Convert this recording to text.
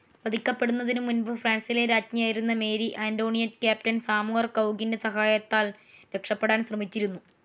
വധിക്കപ്പെടുന്നതിന്മുൻപ് ഫ്രാൻസിലെ രാജ്ഞിയായിരുന്ന Mary Antoinette captain സാമുവർ കൗഗിൻ്റെ സഹായത്താൽ രക്ഷപെടാൻ ശ്രമിച്ചിരുന്നു.